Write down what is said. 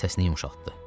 Səsini yumşaltdı.